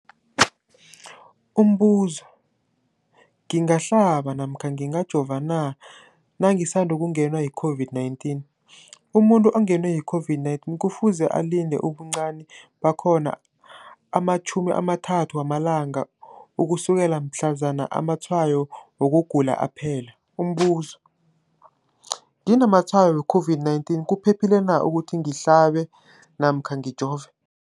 Umbuzo, ngingahlaba namkha ngingajova na nangisandu kungenwa yi-COVID-19? Umuntu ongenwe yi-COVID-19 kufuze alinde ubuncani bakhona ama-30 wama langa ukusukela mhlazana amatshayo wokugula aphela. Umbuzo, nginamatshayo we-COVID-19, kuphephile na ukuthi ngihlabe namkha ngijove?